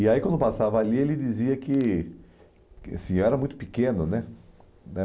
E aí, quando eu passava ali, ele dizia que... Assim, eu era muito pequeno, né?